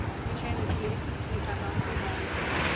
включай на телевизоре телеканал еда